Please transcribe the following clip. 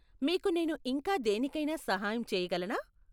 మీకు నేను ఇంకా దేనికైనా సహాయం చేయగలనా?